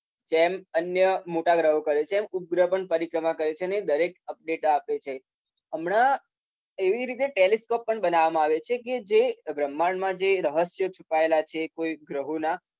જેમ અન્ય મોટા ગ્રહો કરે છે એમ ઉપગ્રહ પણ પરિક્રમા કરે છે. અને એ દરેક અપડેટ આપે છે. હમણા એવી રીતે ટેલીસ્કોપ પણ બનાવવામાં આવ્યા છે. કે જે બ્રહ્માંડમાં જે રહસ્યો છુપાયેલા છે. કોઈ ગ્રહોના.